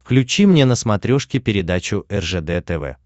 включи мне на смотрешке передачу ржд тв